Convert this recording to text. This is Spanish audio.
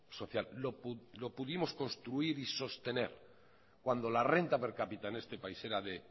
social lo pudimos construir y sostener cuando la renta per capita en este país era de